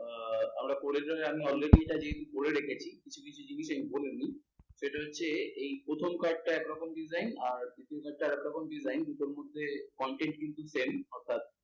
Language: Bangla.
আহ আমরা আমি already এইটা যেহেতু করে রেখেছি, কিছু কিছু জিনিস আমি বলিনি। সেটা হচ্ছে, এই প্রথম কয়েকটা একরকম design আর কয়েকটা একরকম design দুটোর মধ্যে consept কিন্তু same অর্থাৎ,